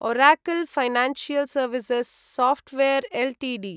Oracle financial services software Ltd